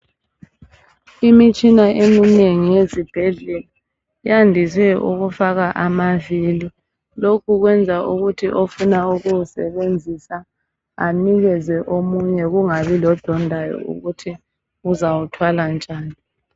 Imitshina eminengi yezibhedlela yandise ukufaka amabili. Lokhu kwenza ukuthi ofuna ukuwasebenzisa anikeze omunye kungabi lodondayo ukuthi uzawuthwala njani.